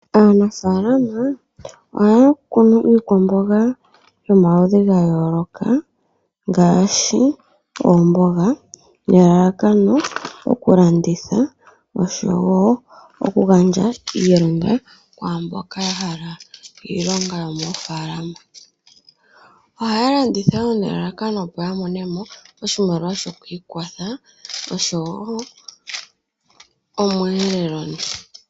Aanafalama oha ya kunu iikwamboga yomaludhi ga yooloka, ngaashi omboga ne lalakano okulanditha osho woo okugandja iilonga, kwaa mboka yahala iilonga yo moofalama. Ohaya landitha nelalakano opo ya monemo oshimaliwa sho kwiikwatha osho woo omweelelo.